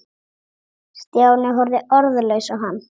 Stjáni horfði orðlaus á hann.